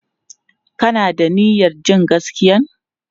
Ka na da niyyar jin gaskiyan?